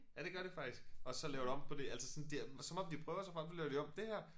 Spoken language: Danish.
Ja det gør det faktisk og så laver det om på de altså sådan det som om de prøver sig frem så laver de om dér